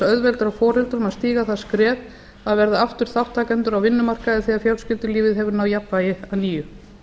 auðvelda foreldrum að stíga það skref að verða aftur þátttakendur á vinnumarkaði þegar fjölskyldulífið hefur náð jafnvægi að nýju